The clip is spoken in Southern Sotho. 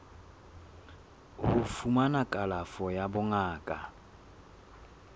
ho fumana kalafo ya bongaka